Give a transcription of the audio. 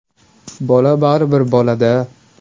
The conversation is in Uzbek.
Bola baribir bolada.